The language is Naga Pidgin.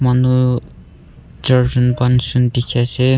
Etu charjun panchjun dekhe ase.